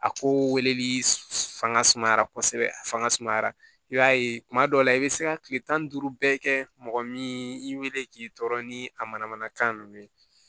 A ko weleli fanga sumayara kosɛbɛ a fanga sumayara i b'a ye kuma dɔw la i bɛ se ka tile tan ni duuru bɛɛ kɛ mɔgɔ min wele k'i tɔɔrɔ ni a mana mana kan ninnu